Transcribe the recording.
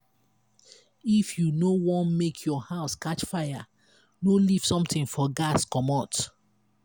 if you no want make your house catch fire no leave something for gas commot.